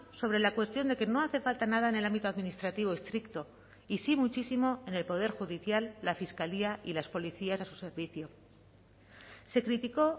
sobre la cuestión de que no hace falta nada en el ámbito administrativo estricto y si muchísimo en el poder judicial la fiscalía y las policías a su servicio se criticó